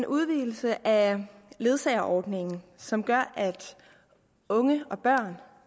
en udvidelse af ledsageordningen som gør at unge og børn